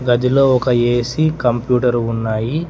గదిలో ఒక A C computer ఉన్నాయి.